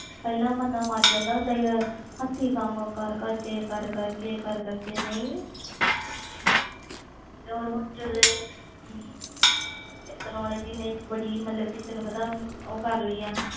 ਪਹਿਲੇ ਬੰਦਾ ਮਾਰ ਜਾਂਦਾ ਸੀ ਹਾਥੀ ਕਮ ਕਰ ਕਰ ਕੇ ਹੁਣ ਜਦੋ technology ਨੇ ਬੜੀ ਉਹ ਕਰ ਲਈ